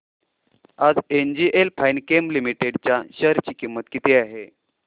आज NGL Finechem limited च्या share ची किंमत किती आहे